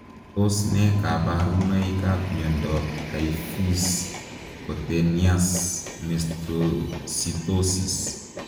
Tos ne kabarunoik ap miondoop taifuse kutenias Mastositosis?